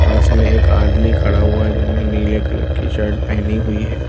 पास में एक आदमी खड़ा हुआ है जिसने नीले कलर की शर्ट पहनी हुई है।